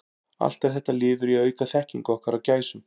Allt er þetta liður í að auka þekkingu okkar á gæsum.